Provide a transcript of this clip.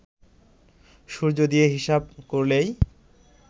সূর্য দিয়ে হিসাব করলেই